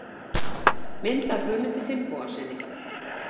Mynd af Guðmundi Finnbogasyni.